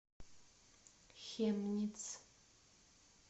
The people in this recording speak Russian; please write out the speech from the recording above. хемниц